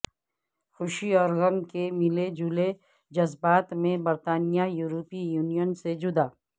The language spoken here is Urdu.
خوشی اور غم کے ملے جلے جذبات میں برطانیہ یورپی یونین سے جدا